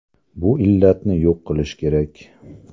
Bu illatni yo‘q qilish kerak.